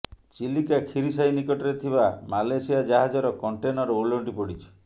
ଚିଲିକା ଖିରିସାହି ନିକଟରେ ଥିବା ମାଲେସିଆ ଜାହାଜର କଣ୍ଟେନର ଓଲଟି ପଡ଼ିଛି